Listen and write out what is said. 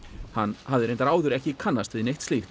hann hafði reyndar áður ekki kannast við neitt slíkt